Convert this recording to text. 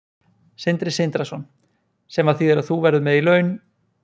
Sindri Sindrason: Sem að þýðir að þú verður með í laun?